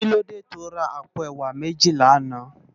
Kilódé tó rá àpó èwá méji làná?